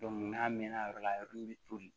n'a mɛnna yɔrɔ la a yɔrɔ min bɛ toli